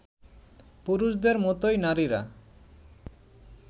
পুরুষদের মতোই নারীরা